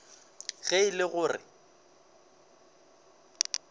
ge e le go re